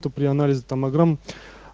то при анализе томограмм